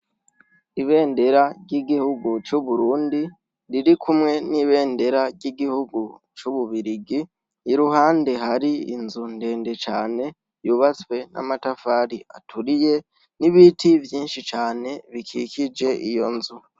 Ibendera ry'igihugu c'Uburundi riri kumwe n'ibendera ry'igihugu c'Ububirigi, iruhande hari inzu ndende cane yubatswe n'amatafari aturiye n'ibiti vyinshi cane bikikije iyo nzu.